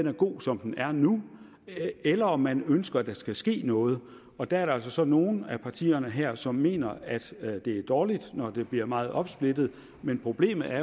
er god som den er nu eller om man ønsker at der skal ske noget og der er der altså så nogle af partierne her som mener at at det er dårligt når det bliver meget opsplittet men problemet er